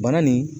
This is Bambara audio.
Bana nin